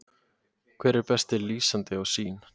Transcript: Hver er besti lýsandinn á Sýn?